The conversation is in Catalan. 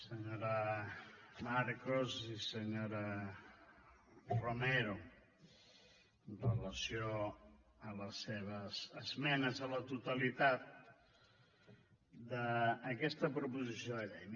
senyora marcos i senyora romero amb relació a les seves esmenes a la totalitat d’aquesta proposició de llei